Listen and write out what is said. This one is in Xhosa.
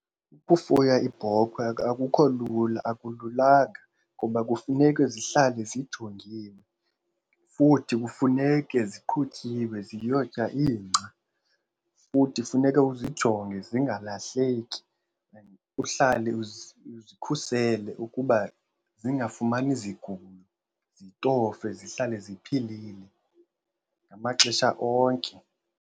Ukufuya iibhokhwe akukho lula akululanga ngoba kufuneke zihlale zijongiwe. Futhi kufuneke ziqhutyiwe ziyotya ingca. Futhi funeka uzijonge zingalahleki and uhlale uzikhusele ukuba zingafumani zigulo, zitofwe zihlale ziphilile ngamaxesha onke.